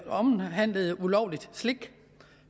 omhandlede ulovligt slik